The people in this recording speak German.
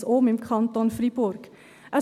Sie setzen es im Kanton Freiburg um.